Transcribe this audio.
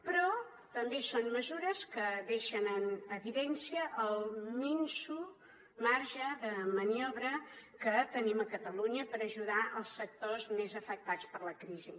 però també són mesures que deixen en evidència el minso marge de maniobra que tenim a catalunya per ajudar els sectors més afectats per la crisi